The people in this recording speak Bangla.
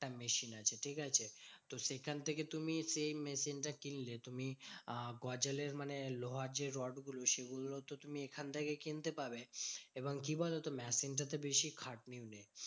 Machine আছে ঠিকাছে? তো সেখান থেকে তুমি সেই machine টা কিনলে। তুমি আহ গজালের মানে লোহার যে রড গুলো সেগুলো তো তুমি এখান থেকে কিনতে পাবে। এবং কি বলতো? machine টা তে বেশি খাটনি নেই।